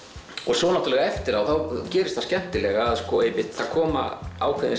svo náttúrulega eftir á gerist það skemmtilega að það koma ákveðin